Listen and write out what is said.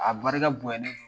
A barika bonyanen don